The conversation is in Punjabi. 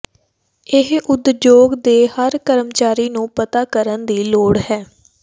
ਇਹ ਉਦਯੋਗ ਦੇ ਹਰ ਕਰਮਚਾਰੀ ਨੂੰ ਪਤਾ ਕਰਨ ਦੀ ਲੋੜ ਹੈ